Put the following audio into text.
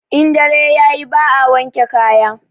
In dare yayi ba a wanke kaya